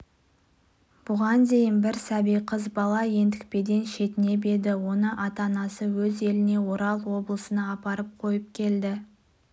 бұл уақытқа дейін бастарына ондай күн түскен жоқ еді марқұмды борандыға әкеліп жерлеудің реті жоқ еді